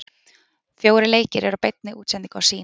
Fjórir leikir eru í beinni útsendingu á Sýn.